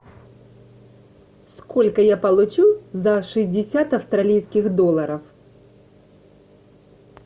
сколько я получу за шестьдесят австралийских долларов